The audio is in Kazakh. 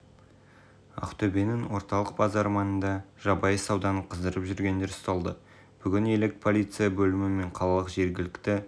ақтөбенің орталық базары маңында жабайы сауданы қыздырып жүргендер ұсталды бүгін елек полиция бөлімі мен қалалық жергілікті